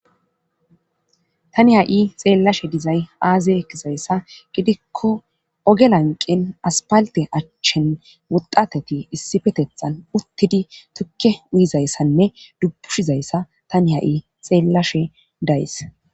Tani ha'i xeellashe dizay aazi ekkizayssa gidikko ogelanqin aspalte achchen wudateti issifetethan uttidi tukke uyizayssanne dubbushizayssa tani ha'i xeellashe days